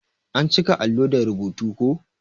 An cika allo da rubutu ko.